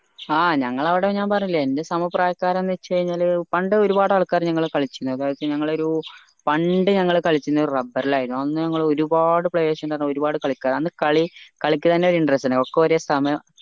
ആ ഞങ്ങളെ അവിടെ ഞാൻ പറഞ്ഞില്ലെ എൻ്റെ സമപ്രായക്കാർ എന്ന വെച്ച് കഴിഞ്ഞാൽ പണ്ട് ഒരുപാട് ആളുക്കാർ ഞങ്ങളാ കളിച്ചീണു അതായത് ഞങ്ങളൊരു പണ്ട് ഞങ്ങൾ കളിച്ചിന് ഒരു rubber ൽ ആയിരുന്നു അന്ന് നമ്മൾ ഒരുപാട് players ഇണ്ട് വെച്ച ഒരുപാട് കളിക്കാർ അന്ന് കളി കളിക്ക് തെന്നെ ഒരു interest ഉണ്ട് ഒക്കെ ഒരു സമയം